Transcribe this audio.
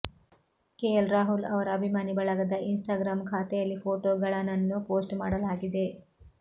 KL Rahul ಅವರ ಅಭಿಮಾನಿ ಬಳಗದ ಇನ್ ಸ್ಟಾಗ್ರಾಮ್ ಖಾತೆಯಲ್ಲಿ ಫೋಟೋಗಳನನ್ನು ಪೋಸ್ಟ್ ಮಾಡಲಾಗಿದೆ